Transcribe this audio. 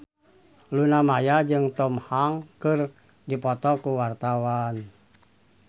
Luna Maya jeung Tom Hanks keur dipoto ku wartawan